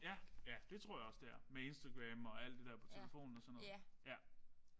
Ja ja det tror jeg også det er. Med Instagram og alt det der på telefonen og sådan noget